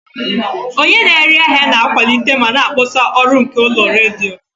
Onye na-ere ahịa na-akwalite ma na-akpọsa ọrụ nke ụlọ redio.